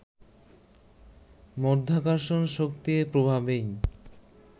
মাধ্যাকর্ষণ শক্তির প্রভাবেই